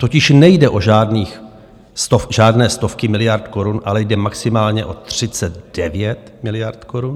Totiž nejde o žádné stovky miliard korun, ale jde maximálně o 39 miliard korun.